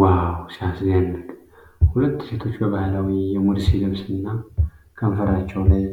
ዋው! ሲያስደንቅ! ሁለት ሴቶች በባህላዊ የሙርሲ ልብስና ከንፈራቸው ላይ